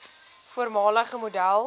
voormalige model